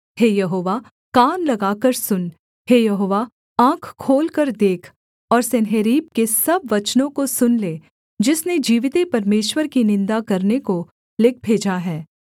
हे यहोवा कान लगाकर सुन हे यहोवा आँख खोलकर देख और सन्हेरीब के सब वचनों को सुन ले जिसने जीविते परमेश्वर की निन्दा करने को लिख भेजा है